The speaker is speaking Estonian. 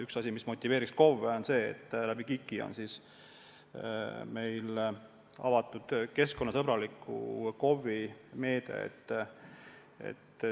Üks asi, mis motiveerib KOV-sid, on see, et KIK-i kaudu on avatud keskkonnasõbraliku KOV-i meede.